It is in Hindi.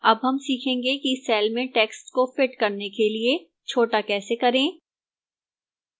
अब हम सीखेंगे कि cell में text को fit करने के लिए छोटा कैसे करें